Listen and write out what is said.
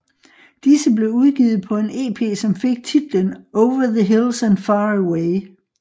Disse blev udgivet på en ep som fik titlen Over the Hills and Far Away